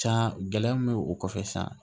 Cɛna gɛlɛya min be o kɔfɛ sisan